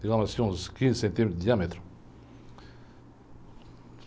Digamos assim, uns quinze centímetros de diâmetro.